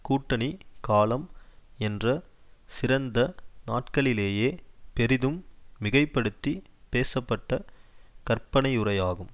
கூட்டணி காலம் என்ற சிறந்த நாட்களிலேயே பெரிதும் மிகை படுத்தி பேசப்பட்ட கற்பனையுரையாகும்